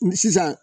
Sisan